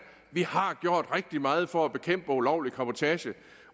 vi har gjort rigtig meget for at bekæmpe ulovlig cabotage